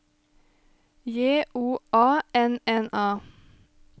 J O A N N A